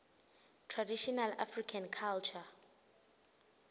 traditional african culture